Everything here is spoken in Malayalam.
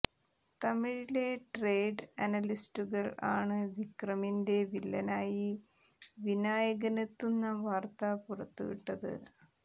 തമിഴിലെ ട്രെയ്ഡ് അനലിസ്റ്റുകൾ ആണ് വിക്രമിന്റെ വില്ലനായി വിനായകനെത്തുന്ന വാർത്ത പുറത്തുവിട്ടത്